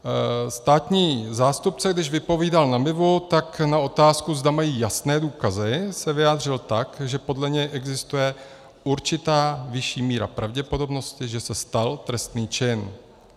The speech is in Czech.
Státní zástupce, když vypovídal na MIVu, tak na otázku, zda mají jasné důkazy, se vyjádřil tak, že podle něj existuje určitá vyšší míra pravděpodobnosti, že se stal trestný čin.